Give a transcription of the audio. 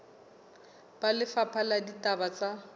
ba lefapha la ditaba tsa